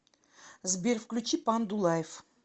сбер включи панду лайв